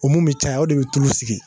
U mun bi caya o de bi tulu sigi